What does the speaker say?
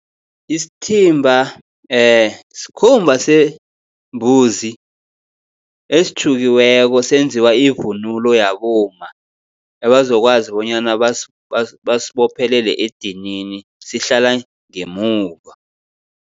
Isithimba skhumba sembuzi esitjhukiweko senziwa ivunulo yabomma, ebazokwazi bonyana basibophelele edinini sihlala ngemuva.